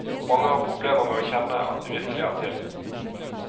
Mange har problemer med å kjenne at de virkelig er til.